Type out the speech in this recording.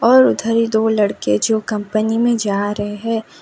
और उधर ही दो लड़के है जो कंपनी में जा रहे हैं।